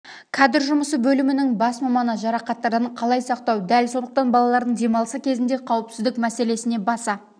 кадр жұмысы бөлімінің бас маманы жарақаттардан қалай сақтау дәл сондықтан балалардың демалысы кезінде қауіпсіздік мәселесіне баса